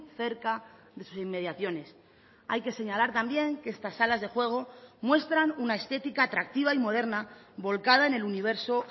cerca de sus inmediaciones hay que señalar también que estas salas de juego muestran una estética atractiva y moderna volcada en el universo